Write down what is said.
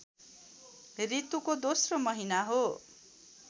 ऋतुको दोस्रो महिना हो